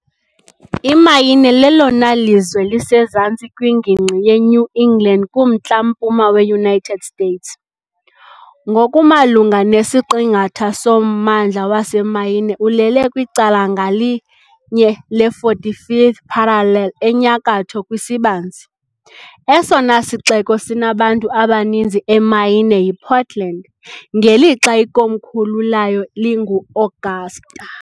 Imaine lelona lizwe lisezantsi kwingingqi yeNew England kuMntla-mpuma weUnited States . Ngokumalunga nesiqingatha sommandla waseMaine ulele kwicala ngalinye le -45th parallel enyakatho kwisibanzi . Esona sixeko sinabantu abaninzi eMaine yiPortland, ngelixa ikomkhulu layo linguAugusta .